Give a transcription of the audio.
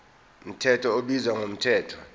mthetho ubizwa ngomthetho